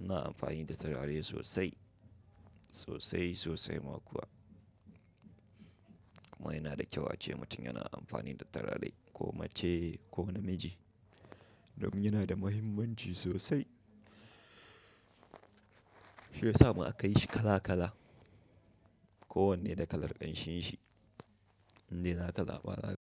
Ina amfani da turare sosai, sosai sosai ma kuwa. Kuma yana da kyau ace mutum yana amfani da turare ko mace ko namiji domin yana da muhimmanci sosai. Shi ya sa ma aka yi shi kala kala. Kowanne da kalar ƙanshinshi. Indai za ka zaba.